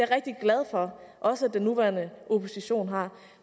rigtig glad for at også den nuværende opposition har